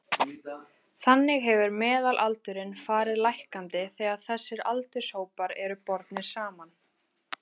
Þannig hefur meðalaldurinn farið lækkandi þegar þessir aldurshópar eru bornir saman.